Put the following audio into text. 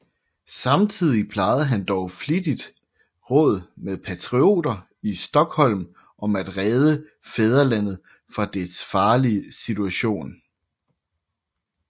Samtidig plejede han dog flittigt råd med patrioter i Stockholm om at redde fædrelandet fra dets farlige situation